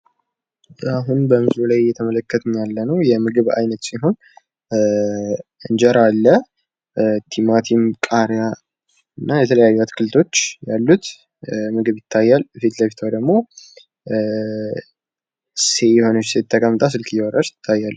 አሁን በምስሉ ላይ እየተመለከትን ያለው የምግብ አይነት ሲሆን እንጀራ አለ። ቲማቲም ቃሪያ እና የተለያዩ አትክልቶች አሉት። ምግብ ይታያል ፊት ለፊቷ ደግሞ የሆነች ሴት ተቀምጣ ስልክ እያወራች ትታያላች።